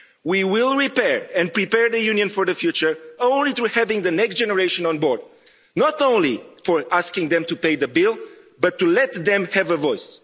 We will repair and prepare the Union for the future only by having the next generation on board, not only asking them to pay the bill, but to let them have a voice.